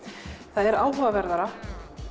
það er áhugaverðara